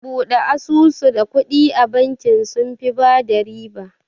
Bude asusu da kuɗi a bakin, sunfi bada riba